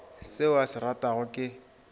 seo a se ratago ke